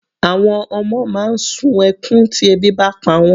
Àwọn ọmọ máa ń sun ẹkún tí ebi bá pa wọ́n.